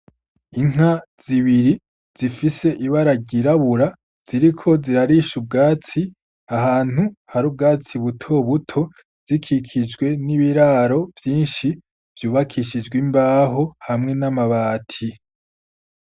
Inka z'ibiri zifise ibara ry'irabura ziriko zirarisha ubwatsi ahantu hari ubwatsi buto buto zikikijwe n'ibiraro vyinshi vyubakishijwe imbaho hamwe n'amabati.